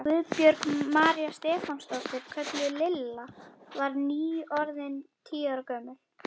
Guðbjörg María Stefánsdóttir, kölluð Lilla, var nýorðin tíu ára gömul.